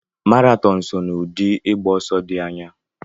Maraton so na ụdị ịgba ọsọ dị anya.